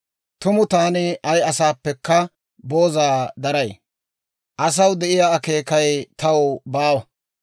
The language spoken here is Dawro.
Tumu taani ay asaappekka booza daray; asaw de'iyaa akeekay taw baawa.